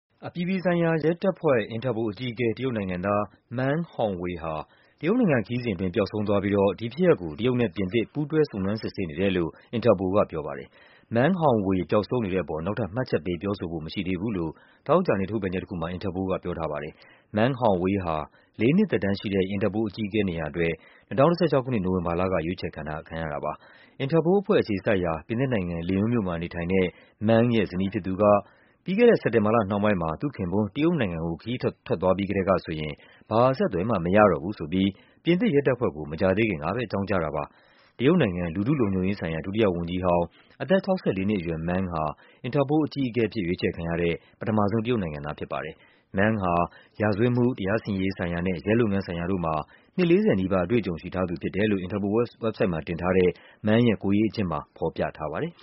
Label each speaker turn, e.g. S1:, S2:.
S1: အပြည်ပြည်ဆိုင်ရာရဲတပ်ဖွဲ့ INTERPOL အကြီးအကဲ တရုတ်နိုင်ငံသား Meng Hongwei ဟာ တရုတ်နိုင်ငံခရီးစဉ်အတွင်း ပျောက်ဆုံးသွားပြီးတော့ ဒီဖြစ်ရပ်ကို တရုတ်နဲ့ပြင်သစ် ပူးတွဲ စုံစမ်းစစ်ဆေးနေတယ်လို့ INTERPOL ကပြောပါတယ်။ Meng Hongwei ပျောက်ဆုံးနေတဲ့အပေါ် နောက်ထပ် မှတ်ချက်ပေး ပြောဆိုဖို့ မရှိသေးဘူးလို့ သောကြာနေ့ ထုတ်ပြန်ချက်တခု မှာ အင်တာပိုလ်က ပြောထားပါတယ်။ Meng Hongwei ဟာ လေးနှစ်သက်တမ်းရှိတဲ့ အင်တာပိုလ်အကြီးအကဲ နေရာအတွက် ၂၀၁၆ ခုနှစ် နိုဝင်ဘာလက ရွေးချယ်ခံရတာပါ။ အင်တာပိုလ်အဖွဲ့ အခြေစိုက်ရာ ပြင်သစ်နိုင်ငံ၊ Lyon မြို့မှာနေထိုင်တဲ့ Meng ရဲ့ဇနီးဖြစ်သူက ပြီးခဲ့တဲ့ စက်တင်ဘာလနှောင်းပိုင်း မှာ သူ့ခင်ပွန်း တရုတ်နိုင်ငံကို ခရီးထွက်သွားပြီးကတည်းကဆိုရင် ဘာအဆက်အသွယ်မှ မရတော့ဘူးဆိုပြီး ပြင်သစ်ရဲတပ်ဖွဲ့ကို မကြာသေးခင်ကပဲ အကြောင်းကြားတာပါ။ တရုတ်နိုင်ငံ၊ လူထုလုံခြုံရေးဆိုင်ရာ ဒုတိယဝန်ကြီးဟောင်း အသက် ၆၄ နှစ်အရွယ် Meng ဟာ အင်တာပိုလ်အကြီးအကဲအဖြစ် ရွေးချယ်ခံရတဲ့ ပထမဆုံး တရုတ်နိုင်ငံသားဖြစ်ပါတယ်။ Meng ဟာ ရာဇဝတ်မှု တရားစီရင်ရေးဆိုင်ရာနဲ့ ရဲလုပ်ငန်းဆိုင်ရာတို့မှာ နှစ် ၄၀ နီးပါး အတွေ့အကြုံရှိထားသူဖြစ်တယ်လို့ အင်တာပိုလ်ဝက်ဘ်ဆိုက်တ်မှာ တင်ထားတဲ့ Meng ရဲ့ ကိုယ်ရေးအကျဉ်းမှာ ဖော်
S2: ပြထားပါတယ်